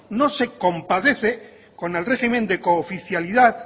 no se compadece con el régimen de cooficialidad